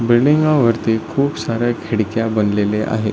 बिल्डिंगा वरती खूप साऱ्या खिडक्या बनलेले आहे.